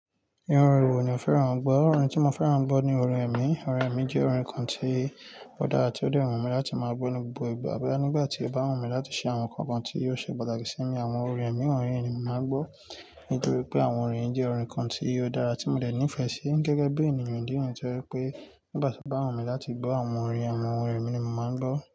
Irú orin wo ni o fẹ́ran ń gbọ́? Orin tí mo fẹ́ran wọn gbọ́ ni orin ẹ̀mí. Orin ẹ̀mí jẹ́ orin kan tí ó dára tí ó dẹ́ wù mí láti máa gbọ́ ní gbogbo ìgbà. Bóyá nígbà tí ó bá wù mí láti ṣe àwọn nǹkan kan tí ó ṣe pàtàkì sí mi, àwọn orin ẹ̀mí wọ̀nyí ni mo màá ń gbọ́. Nítorí pé àwọn orin yìí jẹ́ orin kan tí ó dára tí mo dẹ̀ nífẹ̀ẹ́ sí gẹ́gẹ́ bí ènìyàn. Nítorí pé nígbà tí ó bá wù mí láti gbọ́ àwọn orin, àwọn orin ẹ̀mí ni mo màá ń gbọ́.